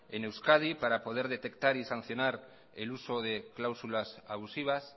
en euskadi para poder detectar y sancionar el uso de cláusulas abusivas